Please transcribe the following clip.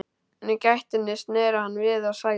En í gættinni sneri hann við og sagði: